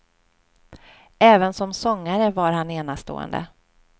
Även som sångare var han enastående.